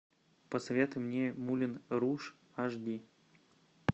посоветуй мне мулен руж аш ди